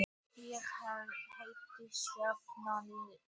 Ég heiti Skarphéðinn Njálsson!